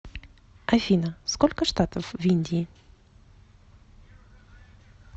афина сколько штатов в индии